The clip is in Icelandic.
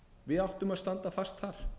við áttum að standa fast þar